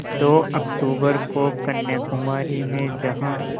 दो अक्तूबर को कन्याकुमारी में जहाँ